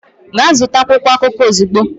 Gaa zụta akwụkwọ akụkọ ozugbo!